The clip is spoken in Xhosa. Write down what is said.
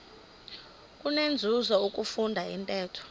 kunenzuzo ukufunda intetho